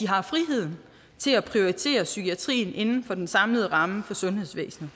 har friheden til at prioritere psykiatrien inden for den samlede ramme for sundhedsvæsenet